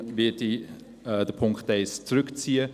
Deshalb ziehe ich den Punkt 1 zurück.